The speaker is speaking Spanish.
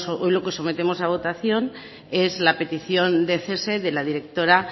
hoy lo que sometemos a votación es la petición de cese de la directora